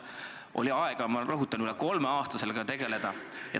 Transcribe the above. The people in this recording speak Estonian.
Neil oli aega, ma rõhutan, üle kolme aasta sellega tegeleda.